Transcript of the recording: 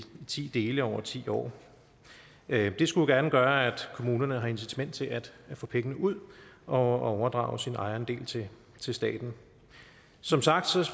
ti dele over ti år det skulle gerne gøre at kommunerne har incitament til at få pengene ud og overdrage sin ejerandel til til staten som sagt